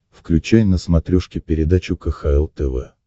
включай на смотрешке передачу кхл тв